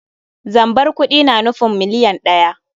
Zambar kuɗi na nufin miliyan ɗaya.